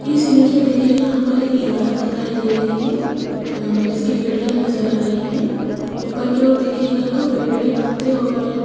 इस इमेज में देखिए यहां पर एक इमारत दिखाई दे रही है अह जिसकी खिड़कियां नजर आ रही हैं ऊपर की ओर देखिएगा तो पेड़ के पत्ते और --